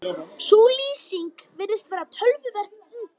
Sú lýsing virðist vera töluvert yngri.